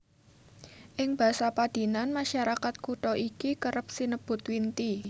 Ing basa padinan masyarakat kutha iki kerep sinebut Winti